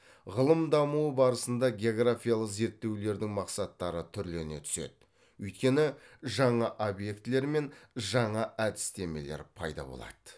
ғылым дамуы барысында географиялық зерттеулердің мақсаттары түрлене түседі өйткені жаңа объектілер мен жаңа әдістемелер пайда болады